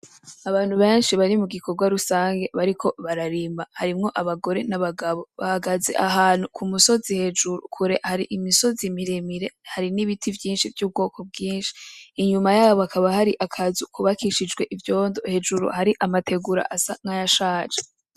Abantu benshi bari mu gikorwa rusangi bariko bararima. Harimwo abagore n'abagabo. Bahagaze ahantu ku musozi hejuru. Kure hari imisozi miremire, hari n'ibiti vyinshi, Inyuma yayo hakaba hari akazu kubakishijwe ivyondo, hejuru hari amategura asa nayashaje.